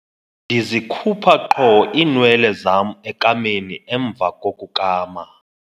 Ndizikhupha qho iinwele zam ekameni emva kokukama.